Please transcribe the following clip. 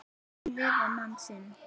Hún lifir mann sinn.